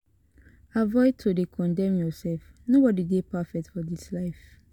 Avoid to de condemn yourself nobody de perfectfor this life